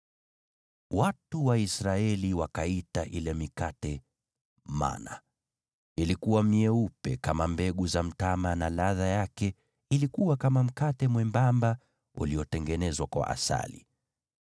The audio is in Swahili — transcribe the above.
Watu wa Israeli wakaita ile mikate mana Ilikuwa myeupe kama mbegu za mtama na ladha yake ilikuwa kama mkate mwembamba uliotengenezwa kwa asali.